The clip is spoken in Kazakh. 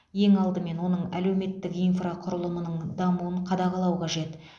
ең алдымен оның әлеуметтік инфрақұрылымының дамуын қадағалау қажет